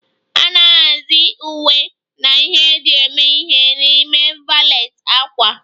A na-ahazi uwe na ihe eji eme ihe n'ime valet ákwà.